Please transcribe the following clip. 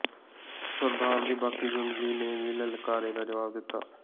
ਸਰਦਾਰ ਦੀ ਬਾਕੀ ਜੁੰਡਲੀ ਨੇ ਵੀ ਲਲਕਾਰੇ ਦਾ ਜਵਾਬ ਦਿੱਤਾ